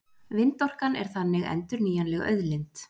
Vindorkan er þannig endurnýjanleg auðlind.